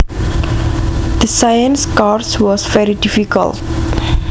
The science course was very difficult